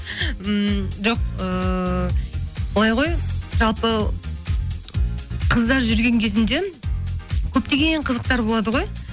ммм жоқ ыыы былай ғой жалпы қыздар жүрген кезінде көптеген қызықтар болады ғой